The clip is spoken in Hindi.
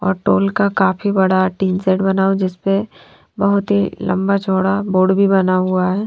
और टोल का काफी बड़ा टी सेट बना हुआ है जिस पर बहोत ही लम्बा चोड़ा बोर्ड भी बना हुआ है।